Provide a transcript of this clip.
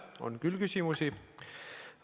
On küll küsimusi.